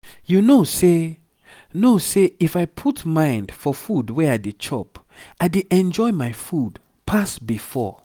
you know say know say if i put mind for food wey i dey chop i dey enjoy my food pass before.